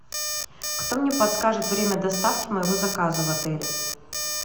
кто мне подскажет время доставки моего заказа в отеле